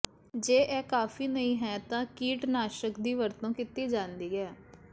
ਜੇ ਇਹ ਕਾਫ਼ੀ ਨਹੀਂ ਹੈ ਤਾਂ ਕੀਟਨਾਸ਼ਕ ਦੀ ਵਰਤੋਂ ਕੀਤੀ ਜਾਂਦੀ ਹੈ